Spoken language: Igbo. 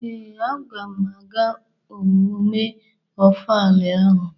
Ee, agam aga emume Ofala ahụ.